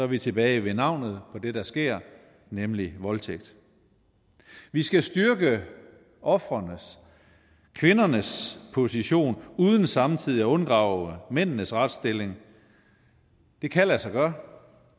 vi tilbage ved navnet på det der sker nemlig voldtægt vi skal styrke ofrenes kvindernes position uden samtidig at undergrave mændenes retsstilling det kan lade sig gøre